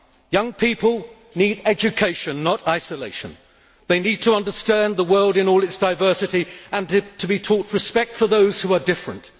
Young people need education, not isolation they need to understand the world in all its diversity and be taught respect for those who are different.